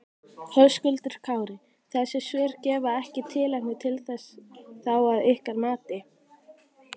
Höskuldur Kári: Þessi svör gefa ekki tilefni til þess þá að ykkar mati?